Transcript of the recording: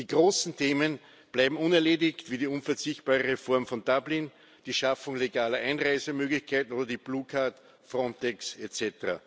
Die großen Themen bleiben unerledigt, wie die unverzichtbare Reform von Dublin, die Schaffung legaler Einreisemöglichkeiten oder die blue card, Frontex etc.